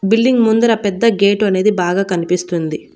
Building ముందర పెద్ద gate అనేది బాగా కనిపిస్తుంది.